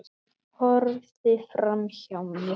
Horfði framhjá mér.